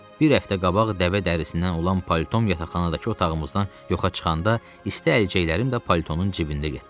Bir həftə qabaq dəvə dərisindən olan palton yataqxanadakı otağımızdan yoxa çıxanda isti əlcəklərim də paltonun cibində getdi.